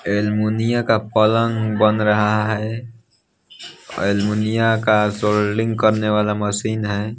अलमुनिया का पलंग बन रहा है अलमुनिया का सोल्डिंग करने वाला मशीन है।